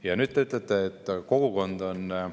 Ja nüüd te ütlete, et kogukond on …